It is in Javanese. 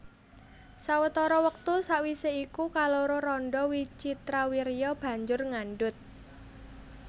Sawetara wektu sawisé iku kaloro randha Wicitrawirya banjur ngandhut